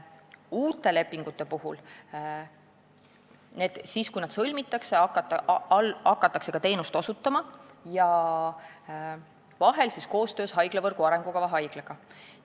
Uute lepingute sõlmimise järel hakatakse vahel koostöös haiglavõrgu arengukava haiglaga teenuseid osutama.